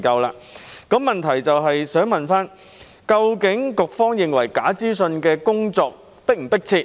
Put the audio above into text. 我的補充質詢是：究竟局方認為應對假資訊的工作是否迫切？